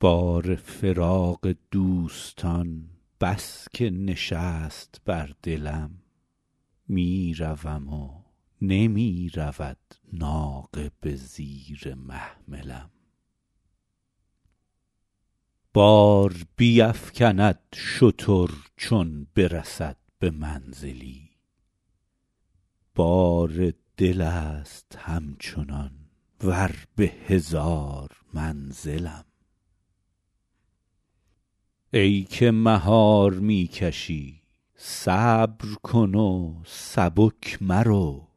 بار فراق دوستان بس که نشست بر دلم می روم و نمی رود ناقه به زیر محملم بار بیفکند شتر چون برسد به منزلی بار دل است همچنان ور به هزار منزلم ای که مهار می کشی صبر کن و سبک مرو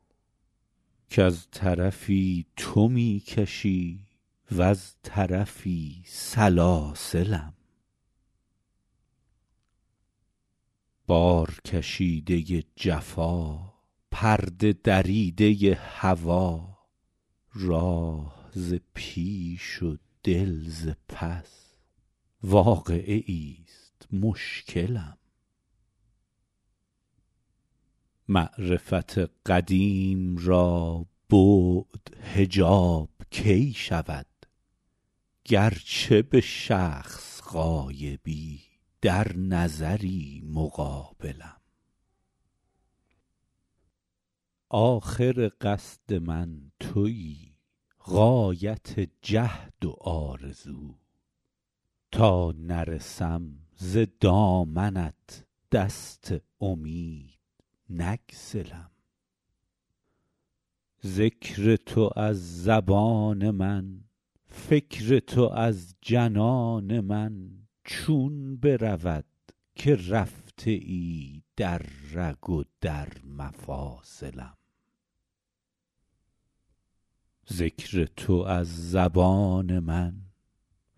کز طرفی تو می کشی وز طرفی سلاسلم بارکشیده ی جفا پرده دریده ی هوا راه ز پیش و دل ز پس واقعه ایست مشکلم معرفت قدیم را بعد حجاب کی شود گرچه به شخص غایبی در نظری مقابلم آخر قصد من تویی غایت جهد و آرزو تا نرسم ز دامنت دست امید نگسلم ذکر تو از زبان من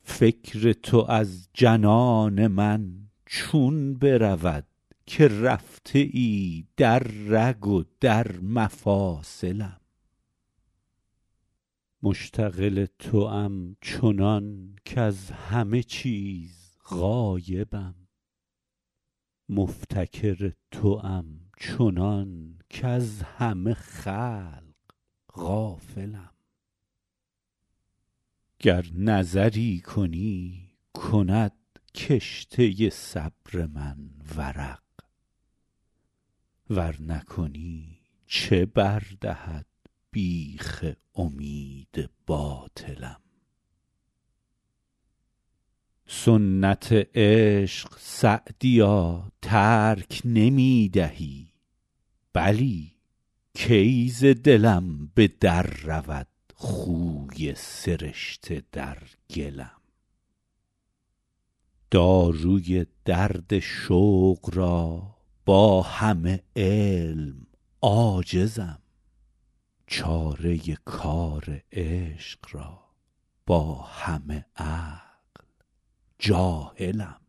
فکر تو از جنان من چون برود که رفته ای در رگ و در مفاصلم مشتغل توام چنان کز همه چیز غایبم مفتکر توام چنان کز همه خلق غافلم گر نظری کنی کند کشته صبر من ورق ور نکنی چه بر دهد بیخ امید باطلم سنت عشق سعدیا ترک نمی دهی بلی کی ز دلم به در رود خوی سرشته در گلم داروی درد شوق را با همه علم عاجزم چاره کار عشق را با همه عقل جاهلم